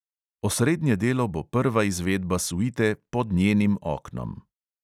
Osrednje delo bo prva izvedba suite pod njenim oknom.